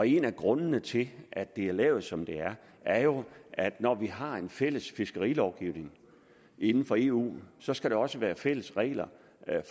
en af grundene til at det er lavet som det er er jo at når vi har en fælles fiskerilovgivning inden for eu så skal der også være fælles regler